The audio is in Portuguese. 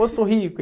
Ô Sorrico!